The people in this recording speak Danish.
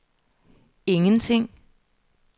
ingenting